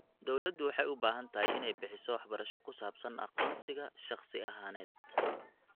Dawladdu waxay u baahan tahay inay bixiso waxbarasho ku saabsan aqoonsiga shakhsi ahaaneed.